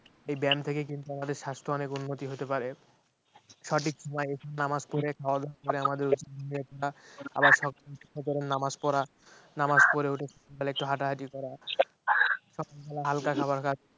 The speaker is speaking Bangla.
এই ব্য়ায়াম থেকে কিন্তু আমাদের স্বাস্থ্য অনেক উন্নতি হতে পারে সঠিক সময়ে নামাজ পড়ে করে বা সকাল উঠে নামাজ পড়া নামাজ পড়ে উঠে সকালে একটু হাঁটাহাটি করা সকাল বেলা হালকা খাবার খাওয়া